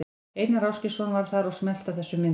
Einar Ásgeirsson var þar og smellti af þessum myndum.